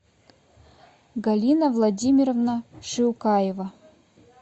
галина владимировна шилкаева